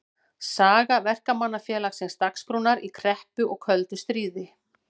Saga Verkamannafélagsins Dagsbrúnar í kreppu og köldu stríði.